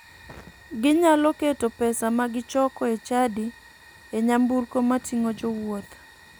Ginyalo keto pesa magichoko e chadi e nyamburko mating'o jowuoth.